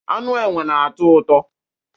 Anụ enwe na-atọ ụtọ